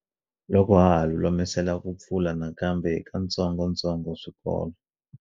Loko ha ha lulamisela ku pfula nakambe hi katsongotsongo swikolo